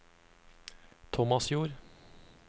Tomasjord